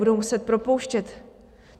Budou muset propouštět.